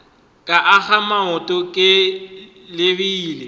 ka akga maoto ke lebile